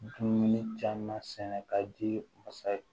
Dumuni caman sɛnɛ ka di masa ye